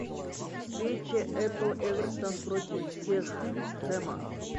встреча апл эвертон против всех хэма